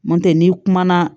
Nɔntɛ n'i kumana